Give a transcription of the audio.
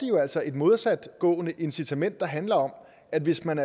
jo altså et modsatgående incitament der handler om at hvis man